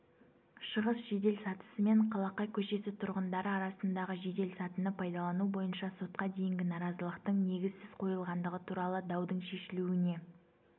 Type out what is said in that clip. шығыс жеделсатысымен қалақай көшесі тұрғындары арасындағы жеделсатыны пайдалану бойынша сотқа дейінгі наразылықтың негізсіз қойылғандығы туралы даудың шешілуіне